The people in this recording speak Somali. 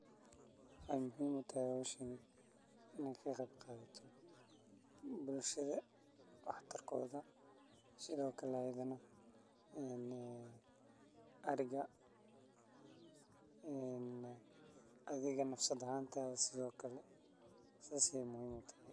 Waxee muhiim utahay hoshan in ee ka qeb qadato bulshaada wax tarkodha sithokale ariga wax tarkodha iyo adhiga nafsadsha sas ayey muhiim u tahay.